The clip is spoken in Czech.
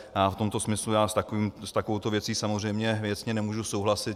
A v tomto smyslu já s takovouto věcí samozřejmě věcně nemůžu souhlasit.